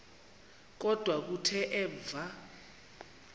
kodwa kuthe emva